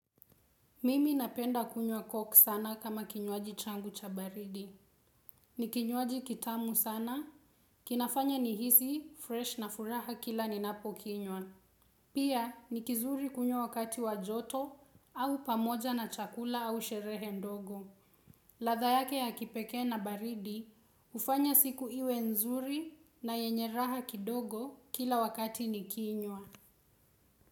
Mimi napenda kunywa koku sana kama kinywaji changu cha baridi. Ni kinywaji kitamu sana, kinafanya nihisi freshi na furaha kila ninapo kinywa. Pia, ni kizuri kunywa wakati wa joto au pamoja na chakula au sherehe ndogo. Ladha yake ya kipekee na baridi, hufanya siku iwe nzuri na yenye raha kidogo kila wakati ni kinywa.